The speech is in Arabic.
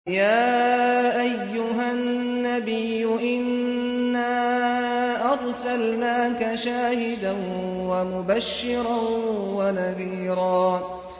يَا أَيُّهَا النَّبِيُّ إِنَّا أَرْسَلْنَاكَ شَاهِدًا وَمُبَشِّرًا وَنَذِيرًا